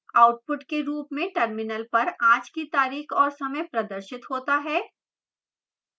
output के रूप में terminal पर आज की तारीख और समय प्रदर्शित होता है